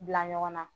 Bila ɲɔgɔn na